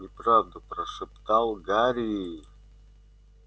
неправда прошептал гарри